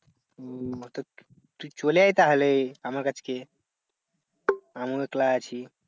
হম হটাৎ তুই চলে আয় তাহলে আমার কাছ কে আমি তো একলা আছি।